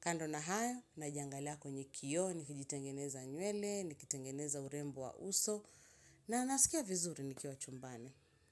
Kando na hayo, najangalia kwenye kioo, nikijitengeneza nywele, nikitengeneza urembo wa uso, na nasikia vizuri nikiwa chumbani.